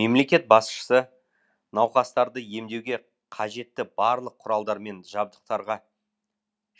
мемлекет басшысы науқастарды емдеуге қажетті барлық құралдармен